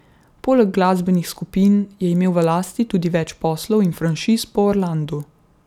Poleg glasbenih skupin je imel v lasti tudi več poslov in franšiz po Orlandu.